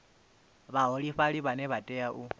vhaholefhali vhane vha tea u